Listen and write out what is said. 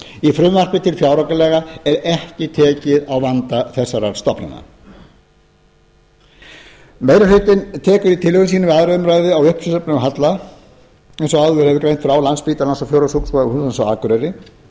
í frumvarpi til fjáraukalaga er ekki tekið á vanda þessara stofnana meiri hlutinn tekur í tillögum sínum við aðra umræðu á uppsöfnuðum halla eins og áður hefur verið greint frá